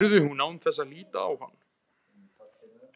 spurði hún án þess að líta á hann.